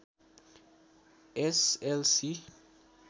S L C